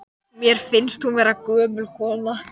Endaði auðvitað á því að Júlía varð að gjalti.